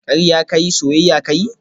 Karya ka yi, soyayya ka yi